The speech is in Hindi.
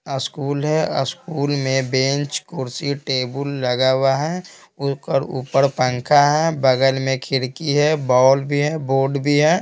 स्कूल है स्कूल में बेंच कुर्सी टेबुल लगा हुआ है उ कर ऊपर पंखा है बगल में खिरकी है बॉल भी है बोर्ड भी है।